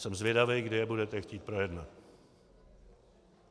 Jsem zvědavý, kdy je budete chtít projednat.